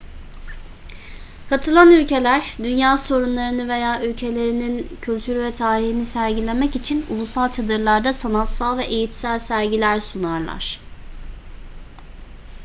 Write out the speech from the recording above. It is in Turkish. katılan ülkeler dünya sorunlarını veya ülkelerinin kültürü ve tarihini sergilemek için ulusal çadırlarda sanatsal ve eğitsel sergiler sunarlar